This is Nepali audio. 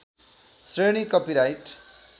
श्रेणी कपिराइट